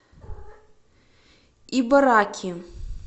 ибараки